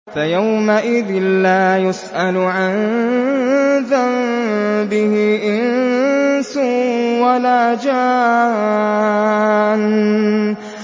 فَيَوْمَئِذٍ لَّا يُسْأَلُ عَن ذَنبِهِ إِنسٌ وَلَا جَانٌّ